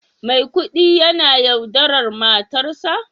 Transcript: Maikudi yana yaudarar matarsa?